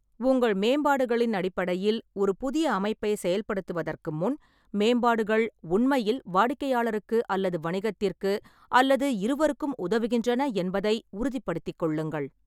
உங்கள் மேம்பாடுகளின் அடிப்படையில் ஒரு புதிய அமைப்பை செயல்படுத்துவதற்கு முன், மேம்பாடுகள் உண்மையில் வாடிக்கையாளருக்கு அல்லது வணிகத்திற்கு அல்லது இருவருக்கும் உதவுகின்றன என்பதை உறுதிப்படுத்திக் கொள்ளுங்கள்.